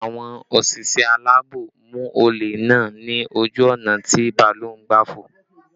Àwọn òṣìṣẹ́ alaabo mú olè náà ni ojú ọ̀nà tí bàálù ń gbà fò